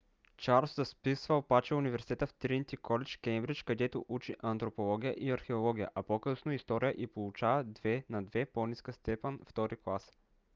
чарлз записва обаче университета в тринити колидж кеймбридж където учи антропология и археология а по-късно и история и получава 2:2 по-ниска степен втори клас